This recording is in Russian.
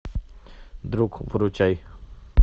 друг выручай